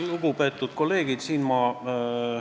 Lugupeetud kolleegid!